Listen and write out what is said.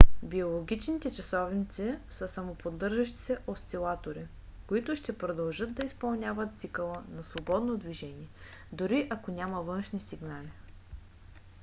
биологичните часовници са самоподдържащи се осцилатори които ще продължат да изпълняват цикъла на свободно движение дори ако няма външни сигнали